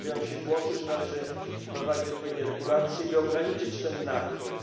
Pojawiają się głosy, że należy wprowadzić odpowiednie regulacje, by ograniczyć ten napływ.